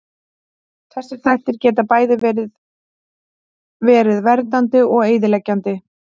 Þessir þættir geta bæði verið verið verndandi og eyðileggjandi.